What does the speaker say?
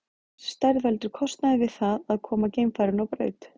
Þessi stærð veldur kostnaði við það að koma geimfarinu á braut.